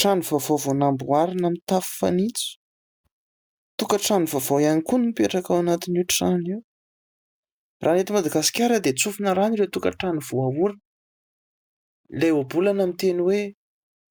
Trano vaovao vao namboarina mitafy fanitso. Tokan-trano vaovao ihany koa no mipetraka ao anatiny io trano io. Raha eto Madagasikara dia tsofina rano ireo tokan-trano voahorina. Ilay ohabolana miteny hoe :